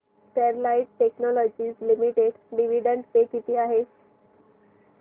Sterlite technologies limited dividend pay किती आहे